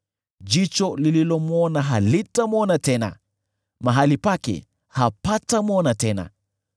Jicho lililomwona halitamwona tena; mahali pake hapatamwona tena.